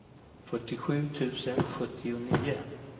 fyrtiosju tusen sjuttionio